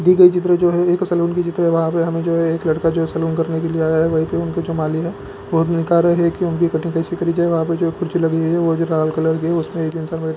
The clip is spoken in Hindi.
दी गई चित्र है एक सैलून का चित्र है वहाँ पे हमें जो है एक लड़का जो सैलून करने के लिए आया है वहीं पे उनका जो मालिक है वो देखा रहे है की उनकी कटिंग केसे करी जाए वहाँ पे जो कुर्सी लगी हुई है वो भी लाल कलर की है उसमें --